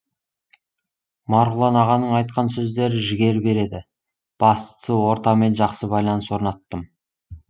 марғұлан ағаның айтқан сөздері жігер береді бастысы ортамен жақсы байланыс орнаттым